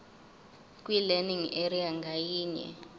kwilearning area ngayinye